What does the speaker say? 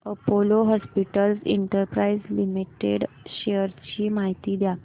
Apollo hospitals enterprise limited shares ची माहिती द्या